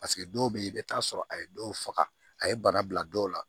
Paseke dɔw bɛ ye i bɛ t'a sɔrɔ a ye dɔw faga a ye bana bila dɔw la